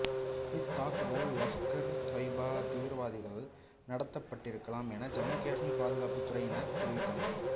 இத்தாக்குதல் லஷ்கர்ஏதொய்பா தீவிரவாதிகளால் நடத்தப்பட்டிருக்கலாம் என ஜம்மு காஷ்மீர் பாதுகாப்புத் துறையினர் தெரிவித்தனர்